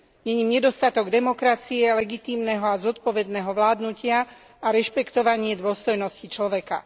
Je ním nedostatok demokracie, legitímneho a zodpovedného vládnutia a rešpektovanie dôstojnosti človeka.